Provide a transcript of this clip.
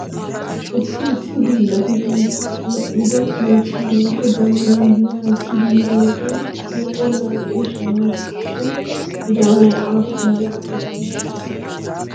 Issi issi hiillati banta medhdhido miishshaa woykko jabanaa giyaa ekkidi yiyo wodiyan asay olaa eqqidi shammees shin he jabanay aappun biraa ekkiishsha?